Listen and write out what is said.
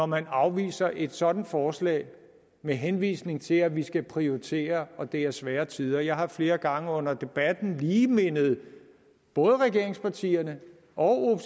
man afviser et sådant forslag med henvisning til at vi skal prioritere og at det er svære tider jeg har flere gange under debatten lige mindet både regeringspartierne og